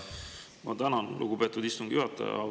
Ma tänan, lugupeetud istungi juhataja!